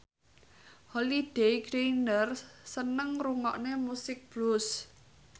Holliday Grainger seneng ngrungokne musik blues